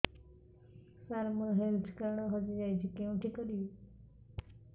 ସାର ମୋର health card ହଜି ଯାଇଛି କେଉଁଠି କରିବି